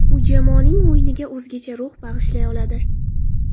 U jamoaning o‘yiniga o‘zgacha ruh bag‘ishlay oladi.